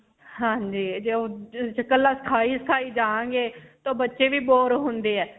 ਹਾਂਜੀ. ਤੇ ਕੱਲਾ ਸਿਖਾਈ-ਸਿਖਾਈ ਜਾਣਗੇ ਤੇ ਬੱਚੇ ਵੀ bore ਹੁੰਦੇ ਹੈ.